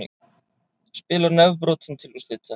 Spilar nefbrotinn til úrslita